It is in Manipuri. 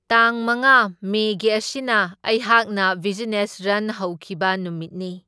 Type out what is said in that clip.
ꯇꯥꯡ ꯃꯉꯥ ꯃꯦꯒꯤ ꯑꯁꯤꯅ ꯑꯩꯍꯥꯛꯅ ꯕꯤꯖꯤꯅꯦꯁ ꯔꯟ ꯍꯧꯈꯤꯕ ꯅꯨꯃꯤꯠꯅꯤ꯫